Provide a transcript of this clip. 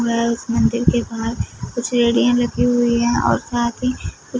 मैं उस मंदिर के पास कुछ रेडियन लगी हुई है और की--